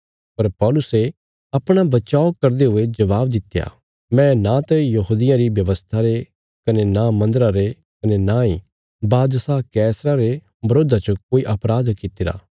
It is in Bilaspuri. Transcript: पर पौलुसे अपणा बचाव करदे हुये जवाब दित्या मैं नांत यहूदियां री व्यवस्था रे कने नां मन्दरा रे कने नांई बादशाह कैसरा रे बरोधा च कोई अपराध कित्तिरा